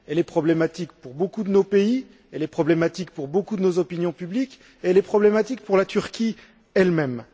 Elle est problématique pour beaucoup de nos pays, elle est problématique pour beaucoup de nos opinions publiques et elle est problématique pour la Turquie elle même.